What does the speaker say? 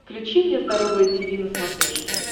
включи мне здоровое тиви на смотрешке